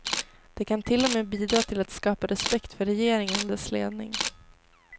Det kan till och med bidra till att skapa respekt för regeringen och dess ledning.